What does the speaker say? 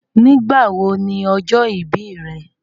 Nígbà wọ̀ ní ọjọ́ ìbí rẹ̀?